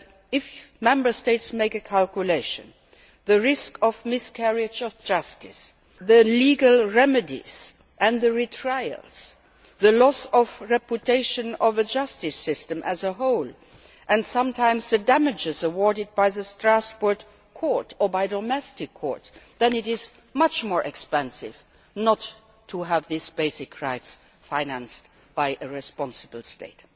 If Member States make a calculation taking in the risk of a miscarriage of justice, the legal remedies and the retrials, the loss of reputation of a justice system as a whole and sometimes the damages awarded by the Strasbourg Court or by domestic courts, then it is much more expensive not to have these basic rights financed by a responsible state.